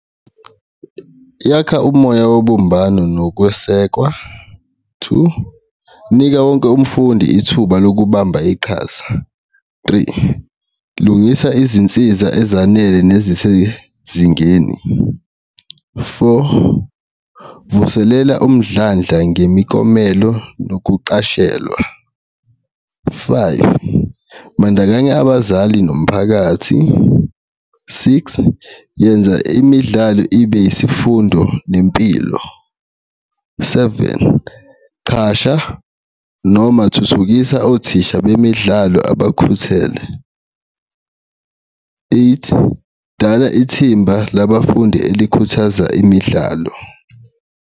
Yakha umoya wobumbano nokwesekwa, two, inika wonke umfundi ithuba lokubamba iqhaza, three, lungisa izinsiza ezanele nezisezingeni, four, vuselela umdlandla ngemiklomelo nokuqashelwa, five, bandakanya abazali nomphakathi, six, yenza imidlalo ibe isifundo nempilo, seven, qasha noma thuthukisa othisha bemidlalo abakhethele, eight, dala ithimba labafundi elikhuthaza imidlalo.